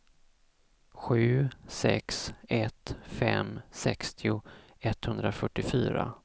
sju sex ett fem sextio etthundrafyrtiofyra